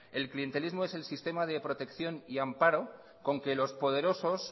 el clientelismo es el sistema de protección y amparo con que los poderosos